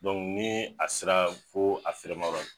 ni a sera ko a ferema yɔrɔ.